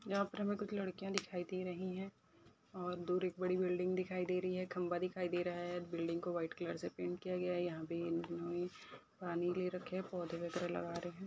यहा पर हमे कुछ लड़किया दिखाई दे रही है और दूर एक बड़ी बिल्डिंग दिखाई दे रही है खंबा दिखाई दे रहा है बिल्डिंग को व्हाइट कलर से पैंट किया गया है यहा पे पानी ले रखे है पौधे वगेरा लगा रहे है।